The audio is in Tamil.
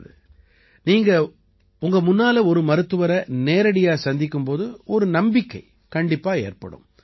நல்லது நீங்க உங்க முன்னால ஒரு மருத்துவரை நேரடியா சந்திக்கும் போது ஒரு நம்பிக்கை கண்டிப்பா ஏற்படும்